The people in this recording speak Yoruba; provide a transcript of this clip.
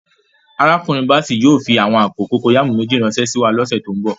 Arákùnrin Bàssèy yóò fí àwọn àpò kòkọyàmù méjì ránsẹ síwa lọ̀ṣẹ̀ tó nbọ̀.